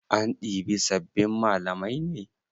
An ɗibi sabbin malamai ne?